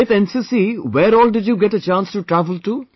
With NCC, where all did you get a chance to travel to